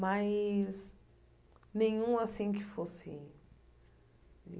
Mas... nenhum assim que fosse.